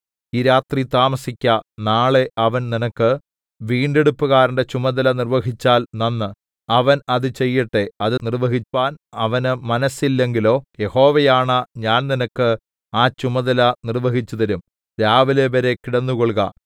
ഈ രാത്രി താമസിക്ക നാളെ അവൻ നിനക്ക് വീണ്ടെടുപ്പുകാരന്റെ ചുമതല നിർവഹിച്ചാൽ നന്ന് അവൻ അത് ചെയ്യട്ടെ അത് നിർവഹിപ്പാൻ അവന് മനസ്സില്ലെങ്കിലോ യഹോവയാണ ഞാൻ നിനക്ക് ആ ചുമതല നിർവഹിച്ചുതരും രാവിലെവരെ കിടന്നുകൊൾക